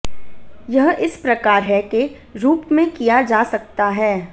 यह इस प्रकार है के रूप में किया जा सकता है